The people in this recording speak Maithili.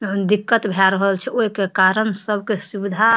अहं दिक्कत भे रहल छे ओहि के कारण सब के सुविधा --